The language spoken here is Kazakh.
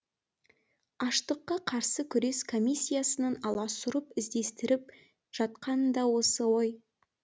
аштыққа қарсы күрес комиссиясының аласұрып іздестіріп жатқаны да осы ғой